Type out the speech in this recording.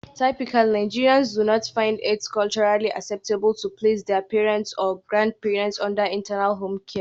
Typically Nigerians do not find it culturally acceptable to place their parents or grandparents under 'external' home care.